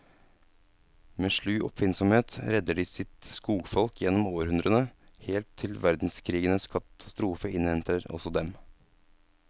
Med slu oppfinnsomhet redder de sitt skogsfolk gjennom århundrene, helt til verdenskrigens katastrofe innhenter også dem.